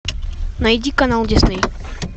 найди канал дисней